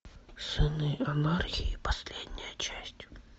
сыны анархии последняя часть